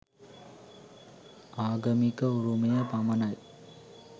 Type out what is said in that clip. ආගමික උරුමය පමණයි